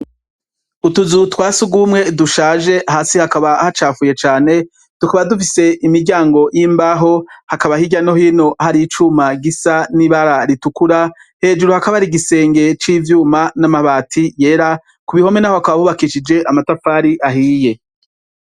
Ituzu twa sugumwe dushaje hasi hakaba hacafuye cane, tukaba dufise imiryango yimbaho hakaba hirya no hino hariho icuma gisa nibara ritukura hejuru hakaba hari igisenge c’ivyuma n’amabati yera, kubihome naho hakaba hubakishije amatafari ahiye.